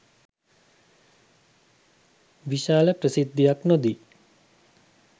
විශාල ප්‍රසිද්ධියක් නොදී